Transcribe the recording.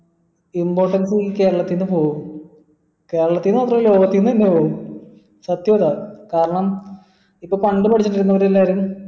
importance എല്ലാത്തിന്റെയു പോവൂ കേരളത്തിൽ മാത്രേ പിന്ന അങ്ങനെ പോവൂ സത്യം അതാ കാരണം ഇപ്പൊ പണ്ട് പഠിച്ചോണ്ടിരുന്ന എല്ലാരും